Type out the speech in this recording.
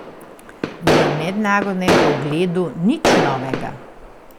V mednarodnem pogledu nič novega.